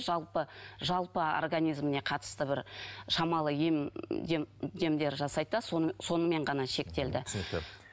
жалпы жалпы организіміне қатысты бір шамалы ем демдер жасайды да сонымен ғана шектелді түсінікті